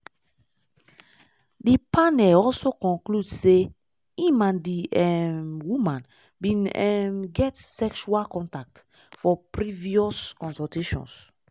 di panel also conclude say im and di um woman bin um get sexual contact for previous consultations.